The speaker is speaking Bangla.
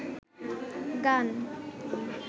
গান